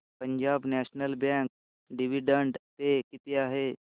Punjab National Bank dividend pay किती आहे